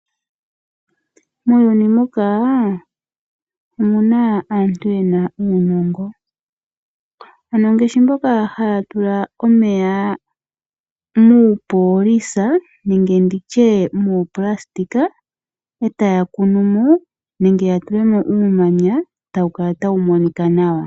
Muuyuni muka omuna aantu yena uunongo ano ngashi ngoka ta tula omeya muupolisa nenge nditye muupulasitika etaya kunu mo nenge ya tule mo uumanya etawu kala tawu monika nawa.